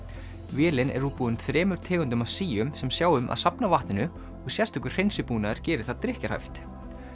vélin er útbúin þremur tegundum af síum sem sjá um að safna vatninu og sérstakur hreinsibúnaður gerir það drykkjarhæft